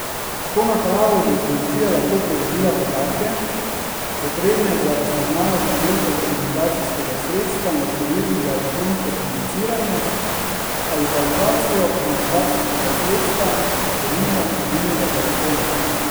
S to napravo bi policija lahko pridobila podatke, potrebne za razpoznavo številke komunikacijskega sredstva in številk za elektronsko komuniciranje, ali pa lokacijo komunikacijskega sredstva, denimo mobilnega telefona.